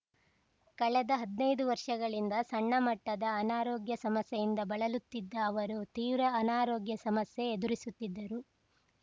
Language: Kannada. ಕಳೆದ ಹದ್ನೈದು ವರ್ಷಗಳಿಂದ ಸಣ್ಣಮಟ್ಟದ ಅನಾರೋಗ್ಯ ಸಮಸ್ಯೆಯಿಂದ ಬಳಲುತ್ತಿದ್ದ ಅವರು ತೀವ್ರ ಅನಾರೋಗ್ಯ ಸಮಸ್ಯೆ ಎದುರಿಸುತ್ತಿದ್ದರು